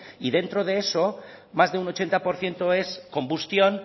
y dentro de eso más de un ochenta por ciento es combustión